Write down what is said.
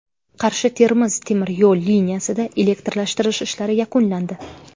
Qarshi Termiz temir yo‘l liniyasida elektrlashtirish ishlari yakunlandi.